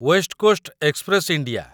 waste Coast Express India